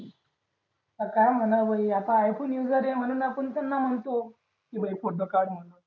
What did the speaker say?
आता काय म्हणावं भाई ऐकू येत नाही म्हणून त्यांना म्हणतो भाई photo काढ म्हणून